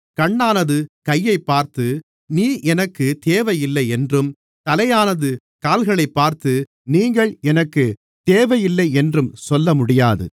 கண்ணானது கையைப்பார்த்து நீ எனக்கு தேவையில்லையென்றும் தலையானது கால்களைப் பார்த்து நீங்கள் எனக்குத் தேவையில்லையென்றும் சொல்லமுடியாது